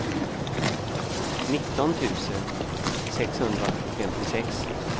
nitton tusen sexhundrafemtiosex